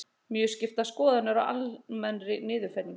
Mjög skiptar skoðanir á almennri niðurfellingu